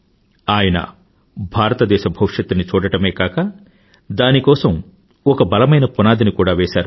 ఆయన భారతదేశ భవిష్యత్తుని చూడడమే కాక దాని కోసం ఒక బలమైన పునాదిని కూడా వేశారు